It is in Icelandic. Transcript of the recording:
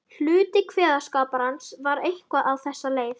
Hluti kveðskaparins var eitthvað á þessa leið